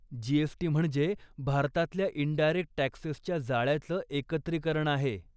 GST. म्हणजे भारतातल्या indirect टक्सेसच्या जाळ्याचं एकत्रीकरण आहे.